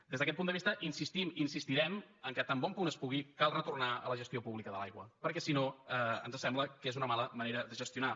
des d’aquest punt de vista insistim i insistirem que tan bon es pugui cal retornar a la gestió pública de l’aigua perquè si no ens sembla que és una mala manera de gestionar